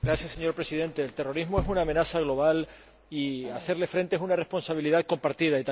Señor Presidente, el terrorismo es una amenaza global y hacerle frente es una responsabilidad compartida.